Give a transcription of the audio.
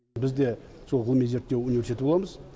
біз де сол ғылыми зерттеу университеті боламыз